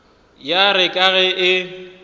ya re ka ge e